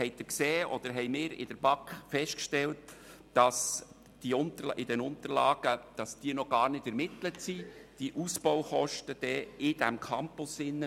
Wir haben seitens der BaK festgestellt, dass die Ausbaukosten in diesem Campus in den Unterlagen noch gar nicht ermittelt wurden.